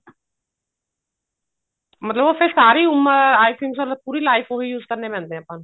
ਮਤਲਬ ਫੇਰ ਉਹ ਸਾਰੀ ਉਮਰ I think so ਪੂਰੀ life ਉਹੀ use ਕਰਨੇ ਪੈਂਦੇ ਨੇ ਆਪਾਂ ਨੂੰ